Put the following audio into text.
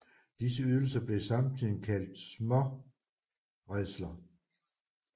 Disse ydelser blev i samtiden kaldt småredsler